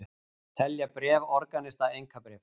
Telja bréf organista einkabréf